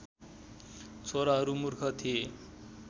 छोराहरू मूर्ख थिए